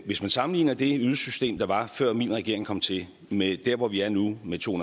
hvis man sammenligner det ydelsessystem der var før min regering kom til med der hvor vi er nu med to